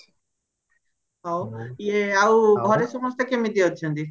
ହଉ ଆଉ ଇଏ ଘରେ ସମସେ କେମିତି ଅଛନ୍ତି